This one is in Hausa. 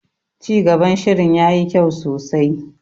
Cigaban shirin yayi kyau sosai.